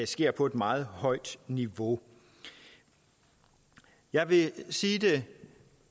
sker på et meget højt niveau jeg vil sige det